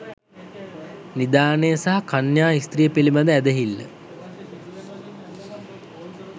නිධානය සහ කන්‍යා ස්ත්‍රිය පිළිබඳ ඇදහිල්ල